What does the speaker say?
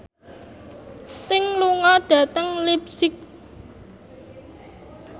Sting lunga dhateng leipzig